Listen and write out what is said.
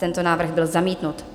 Tento návrh byl zamítnut.